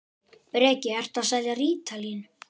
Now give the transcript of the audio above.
Breki: Ertu að selja rítalín?